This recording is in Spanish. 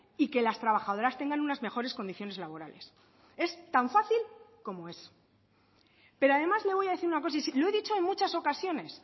y que las trabajadoras tengan unas mejores condiciones laborales es tan fácil como eso pero además le voy a decir una cosa lo he dicho en muchas ocasiones